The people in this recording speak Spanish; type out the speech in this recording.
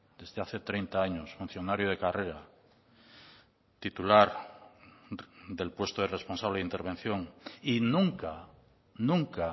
desde hace treinta años funcionario de carrera titular del puesto de responsable de intervención y nunca nunca ha